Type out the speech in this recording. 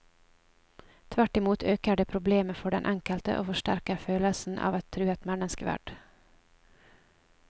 Tvert imot øker det problemet for den enkelte og forsterker følelsen av truet menneskeverd.